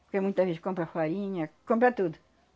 Porque muita gente compra farinha, compra tudo.